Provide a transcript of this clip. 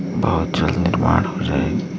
बहुत जल्द हो जाएगी |